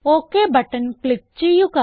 okay button click ചെയ്യുക